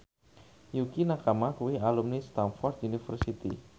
Yukie Nakama kuwi alumni Stamford University